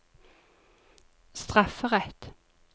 strafferett